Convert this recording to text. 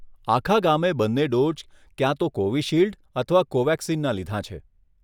આખા ગામે બંને ડોઝ, ક્યાં તો કોવિશિલ્ડ અથવા કોવેક્સિનના લીધાં છે.